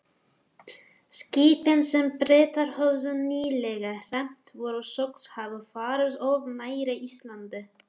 Skipin, sem Bretar höfðu nýlega hremmt, voru sögð hafa farið of nærri Íslandi.